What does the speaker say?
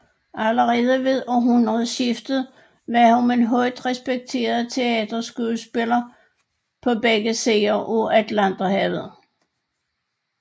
Allerede ved århundredeskiftet var hun en højt respekteret teaterskuespiller på begge sider af Atlanterhavet